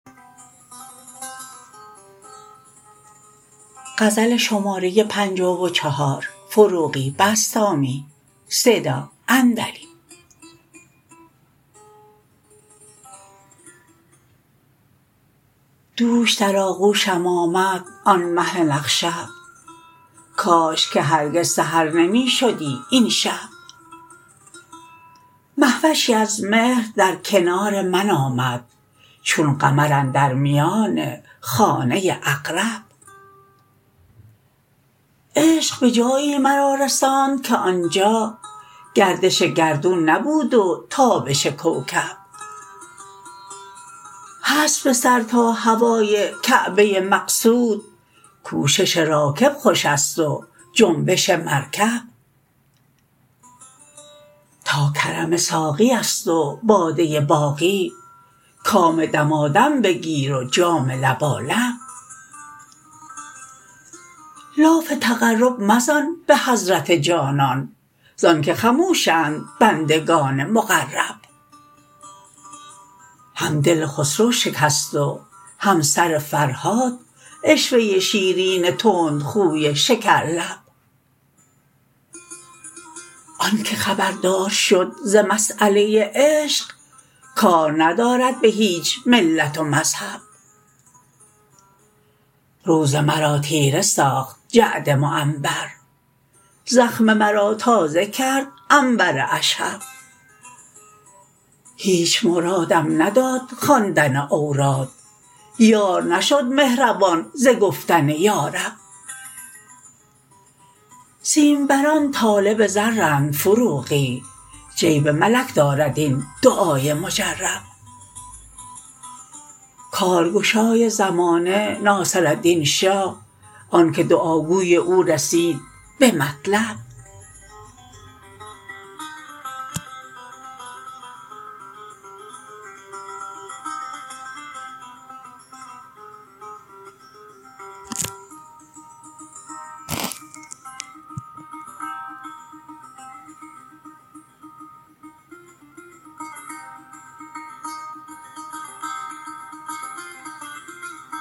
دوش در آغوشم آمد آن مه نخشب کاش که هرگز سحر نمی شدی این شب مهوشی از مهر در کنار من آمد چون قمر اندر میان خانه عقرب عشق به جایی مرا رساند که آنجا گردش گردون نبود و تابش کوکب هست به سر تا هوای کعبه مقصود کوشش راکب خوش است و جنبش مرکب تا کرم ساقی است و باده باقی کام دمادم بگیر و جام لبالب لاف تقرب مزن به حضرت جانان زان که خموشند بندگان مقرب هم دل خسرو شکست و هم سر فرهاد عشوه شیرین تندخوی شکر لب آن که خبردار شد ز مساله عشق کار ندارد به هیچ ملت و مذهب روز مرا تیره ساخت جعد معنبر زخم مرا تازه کرد عنبر اشهب هیچ مرادم نداد خواندن اوراد یار نشد مهربان ز گفتن یارب سیمبران طالب زرند فروغی جیب ملک دارد این دعای مجرب کارگشای زمانه ناصردین شاه آن که دعا گوی او رسید به مطلب